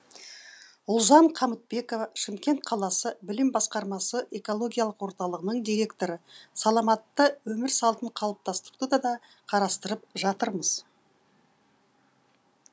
ұлжан қамытбекова шымкент қаласы білім басқармасы экологиялық орталығының директоры саламатты өмір салтын қалыптастыруды да қарастырып жатырмыз